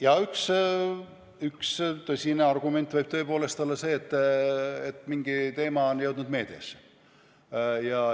Jaa, üks tõsine argument võib tõepoolest olla see, et mingi teema on jõudnud meediasse.